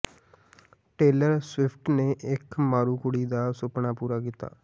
tailor Swift ਨੇ ਇੱਕ ਮਾਰੂ ਕੁੜੀ ਦਾ ਸੁਪਨਾ ਪੂਰਾ ਕੀਤਾ